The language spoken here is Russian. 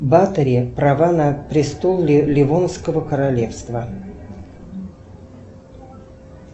баторий права на престол ливонского королевства